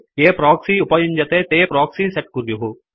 ये प्रोक्सि उपयुञ्जन्ते ते प्रोक्सि सेट कुर्युः